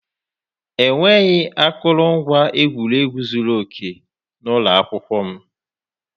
Enweghị akụrụngwa egwuregwu zuru oke n'ụlọ akwụkwọ m.